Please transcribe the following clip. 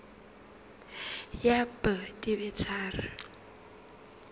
ya b di be tharo